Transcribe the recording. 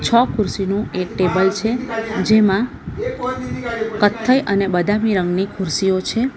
છ ખુરશીનું એક ટેબલ છે જેમાં કથ્થઈ અને બદામી રંગની ખુરશીઓ છે.